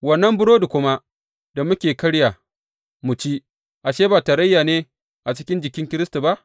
Wannan burodi kuma da muke karya mu ci, ashe, ba tarayya ne a cikin jikin Kiristi ba?